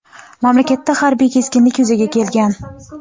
mamlakatda harbiy keskinlik yuzaga kelgan.